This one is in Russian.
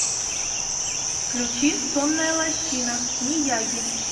включи сонная лощина мияги